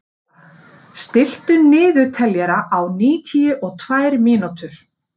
Gréta, stilltu niðurteljara á níutíu og tvær mínútur.